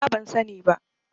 Nima ban sani ba